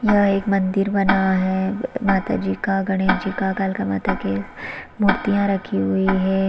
यह एक मंदिर बना है माता जी का गणेश जी का कालका माता के मूर्तियाँ रखी हुई है।